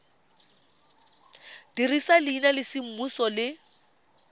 dirisa leina la semmuso le